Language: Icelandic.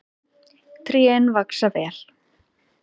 Trén vaxa vel.